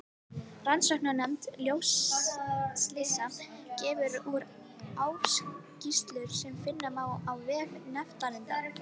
Rannsóknarnefnd sjóslysa gefur úr ársskýrslur sem finna má á vef nefndarinnar.